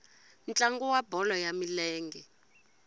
ntlangu wa bolo ya milenge